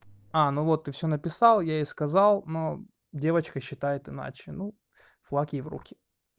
а ну вот ты всё написал я ей сказал но девочка считает иначе ну флаг ей в руки